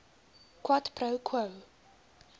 quid pro quo